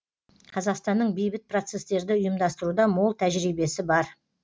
қазақстанның бейбіт процесстерді ұйымдастыруда мол тәжірибесі бар